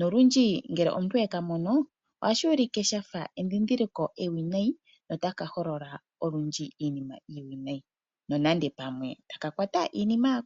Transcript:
Nolundji ngele omuntu e ka mono, ohashi ulike sha fa edhindhiliko ewinayi notaka holola olundji iinima iiwinayi nonando pamwe otaka kwata iikulya ya ko.